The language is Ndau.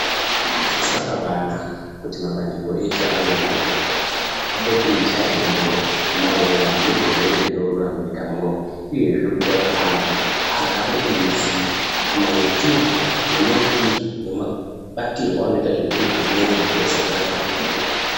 Zvakabaanaka kuti mabandiko eshe anoona ngezveutano apote eichaya bembera maererano nezvirwere zvinotura munyika munomu. Uyehe kuita kuti antu agare eiziye maitirwo nemaitirwo nemabatirwo anoita zvimweni zvirwere zvatinosangana nazvo munyika.